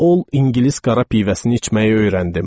Ol İngilis qara pivəsini içməyi öyrəndim.